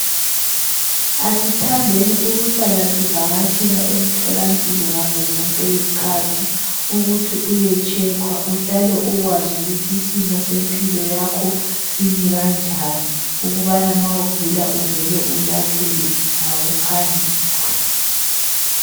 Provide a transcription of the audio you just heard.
Asithandeni ukuhlala sivakatshela emhlola mpilo ngazozonke izikhathi ukuthi uyetshekwa uhlale ukwazi ukuthi isimo sempilo yakho simi kanjani ukuthi nxa ugula uvele ulapheke ngokuphangisa